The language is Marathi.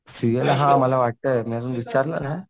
सीएला हां मला वाटतंय मी अजून विचारलं नाही.